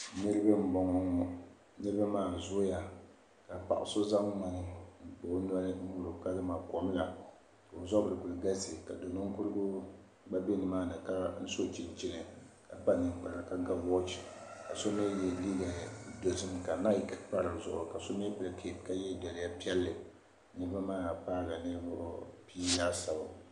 Niriba m-bɔŋɔ ŋɔ niriba maa zooya ka paɣ' so zaŋ ŋmani kpa o noli n-nyuri kamani kom la ka o zabiri kuli galisi ka do' ninkurigu gba be nimaani ka so chinchini ka kpa ninkpara ka ga waachi ka so ye liiga dɔzim ka laki pa di zuɣu ka so mi kpa kapu ka ye liiga piɛlli niriba maa paagi ninvuɣ' pia laasabu